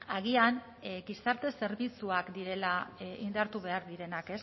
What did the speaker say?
agian gizarte zerbitzuak direla indartu behar direnak